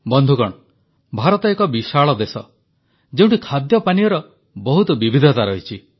ବନ୍ଧୁଗଣ ଭାରତ ଏକ ବିଶାଳ ଦେଶ ଯେଉଁଠି ଖାଦ୍ୟପାନୀୟର ବହୁତ ବିବିଧତା ରହିଛି